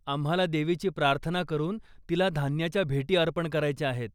आम्हाला देवीची प्रार्थना करून तिला धान्याच्या भेटी अर्पण करायच्या आहेत.